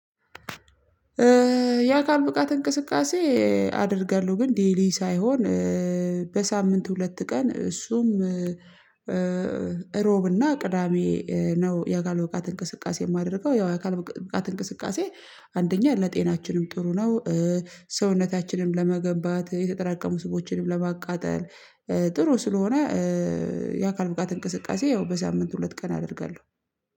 የአካል ብቃት እንቅስቃሴ አደርጋለሁ ግን ዴይሊ ሳይሆን በሳምንት ሁለት ቀን እሱም እሮብና ቅዳሜ ነው። የአካል ብቃት እንቅስቃሴ የማደርገው ያው የአካል ብቃት እንቅስቃሴ አንደኛ ለጤናችንም ጥሩ ነው። ሰውነታችንም ለመገንባት የተጠራቀሙ ስቦችንም ለማቃጠል ጥሩ ስለሆነ የአካል ብቃት እንቅስቃሴ ያው በሳምንት ሁለት ቀን አደርጋለሁ።